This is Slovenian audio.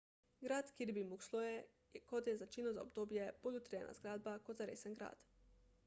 grad kirby muxloe je kot je značilno za obdobje bolj utrjena zgradba kot zaresen grad